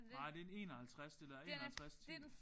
Nej det er en 51 det der. 51 10